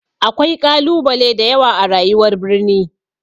Akwai ƙalubale da yawa a rayuwar birni.